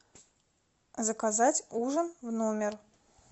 заказать ужин в номер